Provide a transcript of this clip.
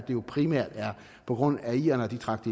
jo primært er på grund af at irerne trak